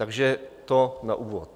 Takže to na úvod.